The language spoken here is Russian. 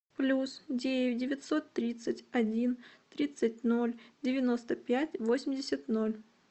плюс девять девятьсот тридцать один тридцать ноль девяносто пять восемьдесят ноль